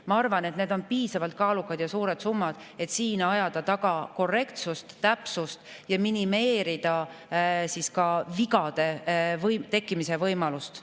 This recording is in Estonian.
Ma arvan, et need on piisavalt suured summad, et siin ajada taga korrektsust ja täpsust ning minimeerida vigade tekkimise võimalust.